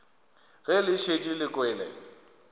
ge le šetše le kwele